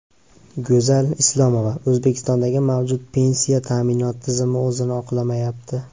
Go‘zal Islomova: O‘zbekistondagi mavjud pensiya ta’minoti tizimi o‘zini oqlamayapti.